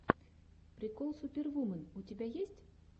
прикол супервумен у тебя есть